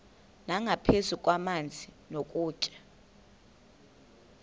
nangaphezu kwamanzi nokutya